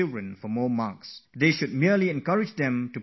They should only motivate them to prepare well for their exams